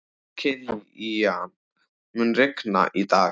Kilían, mun rigna í dag?